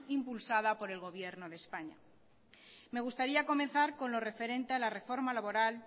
impulsada por el gobierno de españa me gustaría comenzar con lo referente a la reforma laboral